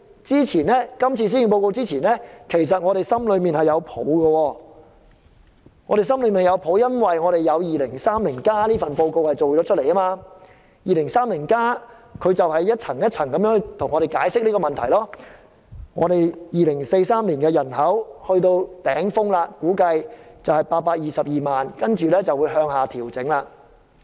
《香港 2030+》就按部就班為我們解釋問題。估計2043年的人口會達致頂峰的822萬，之後會向下調整。